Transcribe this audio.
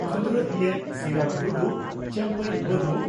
ᱠᱷᱚᱸᱫᱨᱚᱫᱤᱭᱟᱹ ᱥᱤᱨᱟᱢ ᱴᱩᱰᱩ ᱪᱟᱢᱯᱟᱭ ᱢᱩᱨᱢᱩ